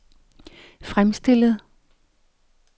fremstillet